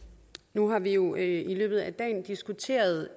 nu har vi jo i løbet af dagen diskuteret